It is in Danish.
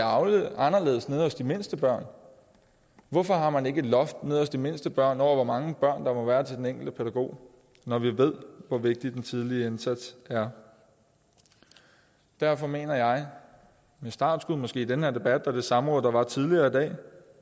anderledes nede hos de mindste børn hvorfor har man ikke et loft nede hos de mindste børn over hvor mange børn der må være til den enkelte pædagog når vi ved hvor vigtig den tidlige indsats er derfor mener jeg med startskud måske i den her debat og det samråd der var tidligere i dag